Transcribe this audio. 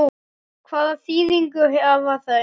Hvaða þýðingu hafa þau?